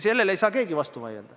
Sellele ei saa keegi vastu vaielda.